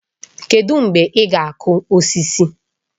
Kedụ mgbe ị ga-akụ osisi?